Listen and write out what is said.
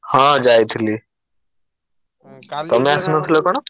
ହଁ ଯାଇଥିଲି ତମେ ଆସିନଥିଲ କଣ?